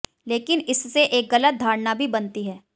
लेकिन इससे एक गलत धारणा भी बनती है